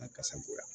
kasa goya